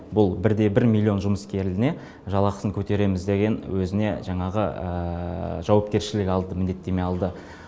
бұл бір де бір миллион жұмыскеріне жалақысын көтереміз деген өзіне жаңағы жауапкершілік алды міндеттеме алды